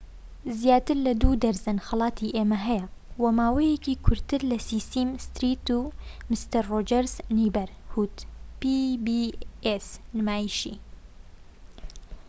نمایشی pbs زیاتر لە دوو دەرزەن خەڵاتی ئێمی هەیە و ماوەکەی کورتترە لە سیسیم ستریت و مستەر ڕۆجەرس نەیبەرهود